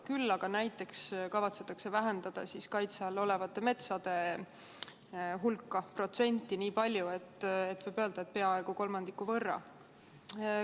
Küll aga näiteks kavatsetakse vähendada kaitse all olevate metsade hulka – võib öelda, et peaaegu kolmandiku võrra.